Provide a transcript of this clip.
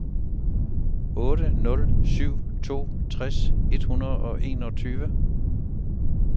otte nul syv to tres et hundrede og enogtyve